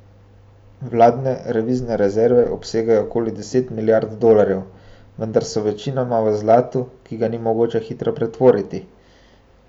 Vladne devizne rezerve obsegajo okoli deset milijard dolarjev, vendar so večinoma v zlatu, ki ga ni mogoče hitro pretvoriti.